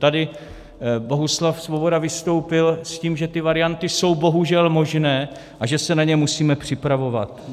Tady Bohuslav Svoboda vystoupil s tím, že ty varianty jsou bohužel možné a že se na ně musíme připravovat.